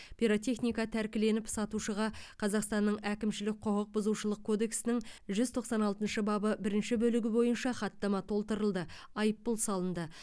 пиротехника тәркіленіп сатушыға қазақстанның әкімшілік құқық бұзушылық кодексінің жүз тоқсан алтыншы бабы бірінші бөлігі бойынша хаттама толтырылды айыппұл салынды